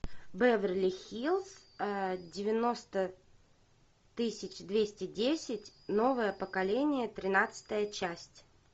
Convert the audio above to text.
беверли хиллз девяносто тысяча двести десять новое поколение тринадцатая часть